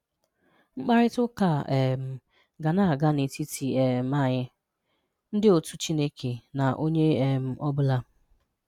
Mkparita ụka a um ga na-aga n'etiti um anyị, ndị otú Chineke na onye um ọ bụla.